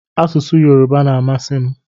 Asụsụ yoruba na amasi mu.